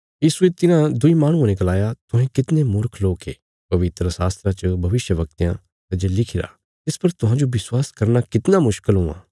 यीशुये तिन्हां दुईं माहणुआं ने गलाया तुहें कितणे मूर्ख लोक ये पवित्रशास्त्रा च भविष्यवक्तयां सै जे लिखिरा तिस पर तुहांजो विश्वास करना कितना मुश्कल हुआं